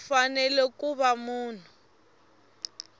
u fanele ku va munhu